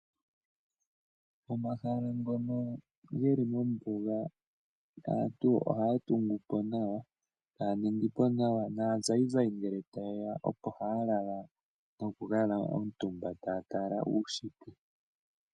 Pomahala ngono ge li mombuga aantu ohaya tungu po nawa e taya ningi po nawa. Naazayizayi sho taye ya opo haya lala, nokukala omutumba taya tala uunshitwe.